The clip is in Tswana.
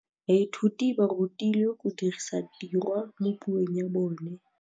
Baithuti ba rutilwe go dirisa tirwa mo puong ya bone.